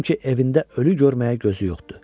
Çünki evində ölü görməyə gözü yoxdur.